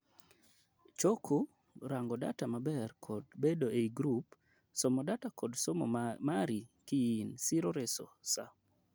choko, rango data maber kod bedo ei group somo data kod somo mari kiin siro reso saa